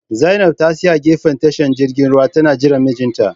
Zainab ta tsaya a gefen tashar jirgin ruwa tana jiran mijinta